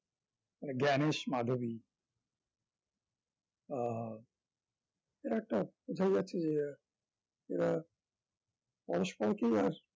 জ্ঞানেশ, মাধবী আহ এরা একটা বোঝাই যাচ্ছে যে এরা পরস্পরকে আর